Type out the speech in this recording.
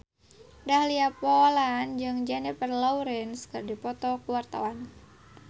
Dahlia Poland jeung Jennifer Lawrence keur dipoto ku wartawan